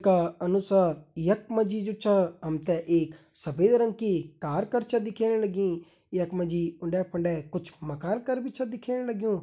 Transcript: का अनुसार यख मा जी जु छा हम ते एक सफ़ेद रंग की कार कर छा दिखेण लगीं यख मा जी उंडे फुंडे कुछ मकान कर भी छ दिखेण लग्युं।